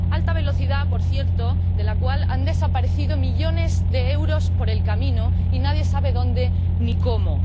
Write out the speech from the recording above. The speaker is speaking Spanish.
Alta velocidad, por cierto, de la cual han desaparecido millones de euros por el camino y nadie sabe dónde ni cómo.